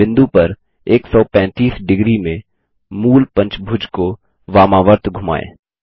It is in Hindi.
बिंदु पर 135° में मूल पंचभुज को वामावर्त घुमाएँ